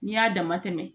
N'i y'a dama tɛmɛ